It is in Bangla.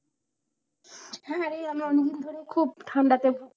হ্যাঁ রে এই আমরা অনেকদিন ধরেই খুব ঠান্ডাতে ভুগছি।